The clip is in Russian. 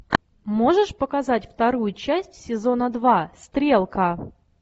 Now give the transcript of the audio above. можешь показать вторую часть сезона два стрелка